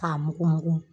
K'a mugu mugu